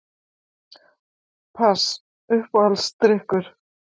Pass Uppáhaldsdrykkur?